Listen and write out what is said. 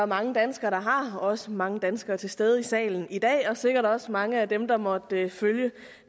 mange danskere der har også mange danskere til stede i salen i dag og sikkert også mange af dem der måtte følge